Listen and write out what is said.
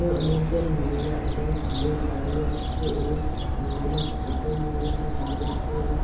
অনেকজন মহিলা এবং পুরুষ দাঁড়িয়ে আছে এবং বেশিরভাগ ছোট মহিলারা দাড়িয়ে আছে। এবং